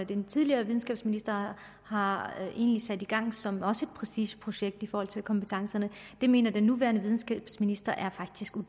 den tidligere videnskabsminister har sat i gang og som også prestigeprojekt i forhold til kompetencerne mener den nuværende videnskabsminister faktisk er